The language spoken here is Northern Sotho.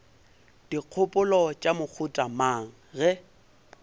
dikgopolo tša mohuta mang ge